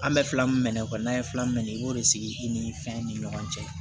An bɛ fila min fɔ n'an ye fila minɛ i b'o de sigi i ni fɛn ni ɲɔgɔn cɛ